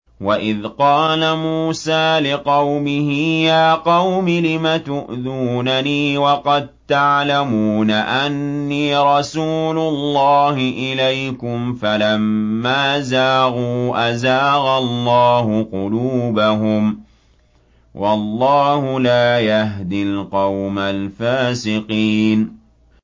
وَإِذْ قَالَ مُوسَىٰ لِقَوْمِهِ يَا قَوْمِ لِمَ تُؤْذُونَنِي وَقَد تَّعْلَمُونَ أَنِّي رَسُولُ اللَّهِ إِلَيْكُمْ ۖ فَلَمَّا زَاغُوا أَزَاغَ اللَّهُ قُلُوبَهُمْ ۚ وَاللَّهُ لَا يَهْدِي الْقَوْمَ الْفَاسِقِينَ